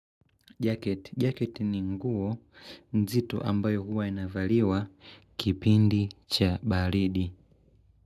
Jacket. Jacket ni nguo nzito ambayo huwa inavaliwa kipindi cha baridi.